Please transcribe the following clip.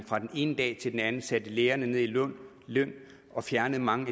fra den ene dag til den anden satte lærerne ned i løn og fjernede mange